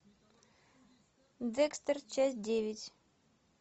декстер часть девять